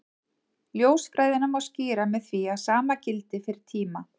Ljósfræðina má skýra með því að sama gildi fyrir tíma.